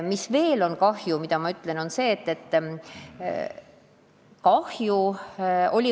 Millega veel tekitati kahju?